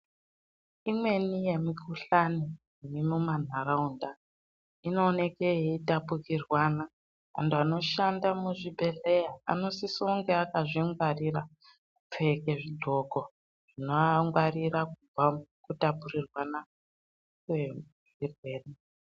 Imweni yemikhuhlane iri mumantaraunda inooneke yeitapukirwana. Vantu vanoshanda muzvibhehleya anosisa kunge akazvingwarira kupfeke zvidxoko zvinoangwarira kubva mukutapurirwana kwezvirwere.